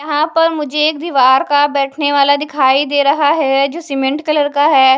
यहां पर मुझे एक दीवार का बैठने वाला दिखाई दे रहा है जो सीमेंट कलर का है।